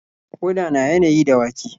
Ƙoda na yanayi da wake.